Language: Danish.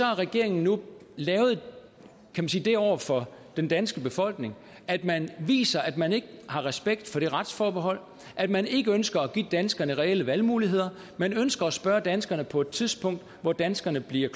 har regeringen nu lavet det over for den danske befolkning at man viser at man ikke har respekt for det retsforbehold at man ikke ønsker at give danskerne reelle valgmuligheder man ønsker at spørge danskerne på et tidspunkt hvor danskerne bliver